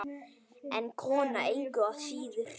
En kona engu að síður.